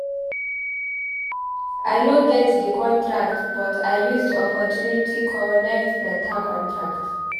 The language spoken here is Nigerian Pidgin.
I no get di contract but I use di opportunity connect beta contract.